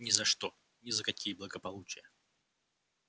ни за что ни за какие благополучия